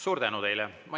Suur tänu teile!